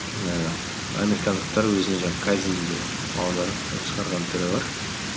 ііі американдықтар өзінің жаңағы кайдзенді аударып та шығарған түрі бар